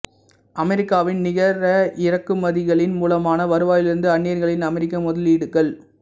அமெரிக்காவின் நிகர இறக்குமதிகளின் மூலமான வருவாயிலிருந்து அந்நியர்களின் அமெரிக்க முதலீடுகள்